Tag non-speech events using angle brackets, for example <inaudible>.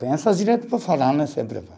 Pensa direito para falar, <unintelligible>